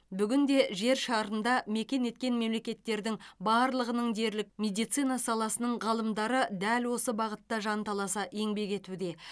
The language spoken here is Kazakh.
бүгінде жер шарында мекен еткен мемлекеттердің барлығының дерлік медицина саласының ғалымдары дәл осы бағытта жанталаса еңбек етуде